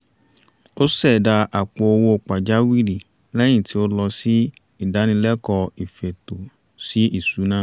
ó ṣẹ̀dá àpò owó pàjáwìrì lẹ́yìn tí ó lọ sí ìdánilẹ́kọ̀ọ́ ìfètò sí ìṣúná